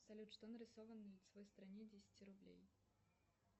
салют что нарисовано на лицевой стороне десяти рублей